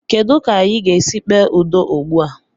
Kedụ ka anyị ga-esi kpee udo ugbu a?